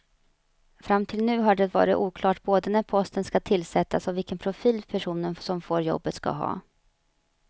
Fram till nu har det varit oklart både när posten ska tillsättas och vilken profil personen som får jobbet ska ha.